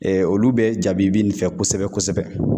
olu bɛ jabibi nin fɛ kosɛbɛ-kosɛbɛ.